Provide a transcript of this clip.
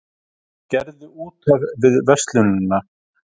Gerði út af við verslunina